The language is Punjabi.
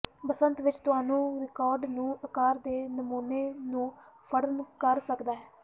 ਬਸੰਤ ਵਿੱਚ ਤੁਹਾਨੂੰ ਰਿਕਾਰਡ ਨੂੰ ਆਕਾਰ ਦੇ ਨਮੂਨੇ ਨੂੰ ਫੜਨ ਕਰ ਸਕਦਾ ਹੈ